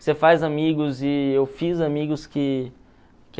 Você faz amigos e eu fiz amigos que